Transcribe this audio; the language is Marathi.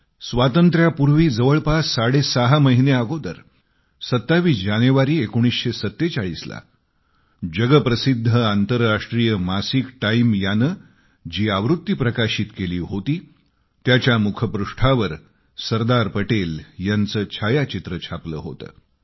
स्वातंत्र्यापूर्वी जवळपास सहा महिने अगोदर 27 जानेवारी 1947 ला जगातले प्रसिद्ध आंतरराष्ट्रीय मासिक टाईम मासिकानं जी आवृत्ती प्रकाशित केली होती त्याच्या मुखपृष्ठावर सरदार पटेल यांच छायाचित्र छापलं होतं